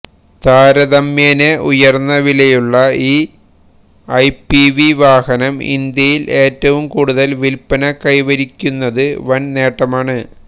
താരതമ്യേന ഉയര്ന്ന വിലയുള്ള ഈ എംപിവി വാഹനം ഇന്ത്യയില് ഏറ്റവും കൂടുതല് വില്പ്പന കൈവരിക്കുന്നത് വന് നേട്ടമാണ്